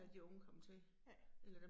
Ja. Ja